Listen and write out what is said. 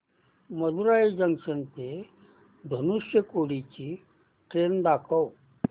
Madurai junction ते धनुषकोडी ची train दाखव